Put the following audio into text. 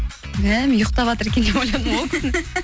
мә мен ұйықатаватыр екен деп ойладым ғой